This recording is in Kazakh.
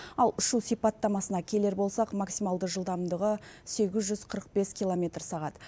ал ұшу сипаттамасына келер болсақ максималды жылдамдығы сегіз жүз қырық бес километр сағат